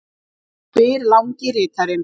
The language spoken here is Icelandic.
spyr langi ritarinn.